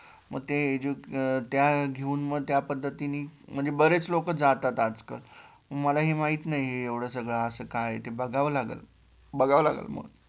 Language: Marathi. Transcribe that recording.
मग ते त्या घेउन मग त्यापद्धतीने म्हणजे बरेचं लोक जातात आजकाल मलाही माहीत नाही एवढ सगळ अस काय ते बघावं लागेल बघावं लागेल मग?